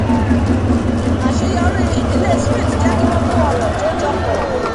àsèyorí ètò ìdókòwò ìdílé smith jẹ́ kí wọ́n kó ọrọ̀ tó pọ̀ jọ